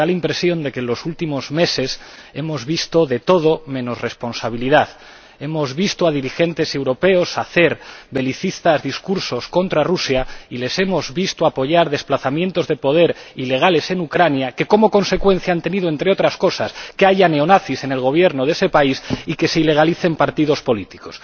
Y me da la impresión de que en los últimos meses hemos visto de todo menos responsabilidad hemos visto a dirigentes europeos hacer belicistas discursos contra Rusia y les hemos visto apoyar desplazamientos de poder ilegales en Ucrania, que han tenido como consecuencia, entre otras cosas, que haya neonazis en el Gobierno de ese país y que se ilegalicen partidos políticos.